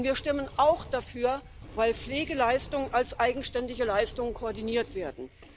Und wir stimmen auch dafür, weil Pflegeleistungen als eigenständige Leistung koordiniert werden.